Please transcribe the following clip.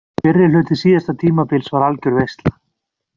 Fyrri hluti síðasta tímabils var algjör veisla.